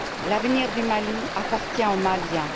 L'avenir du Mali appartient aux Maliens.